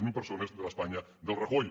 zero persones de l’espanya del rajoy